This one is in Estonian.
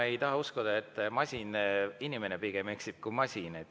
Ma ei taha uskuda, et masin eksib, pigem eksib inimene kui masin.